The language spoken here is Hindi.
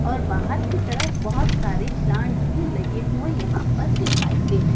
और बाहर की तरफ बहोत सारे प्लांट्स भी लगे हुए यहां पर दिखाई दे रहे--